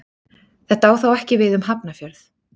Þetta á þó ekki við um Hafnarfjörð.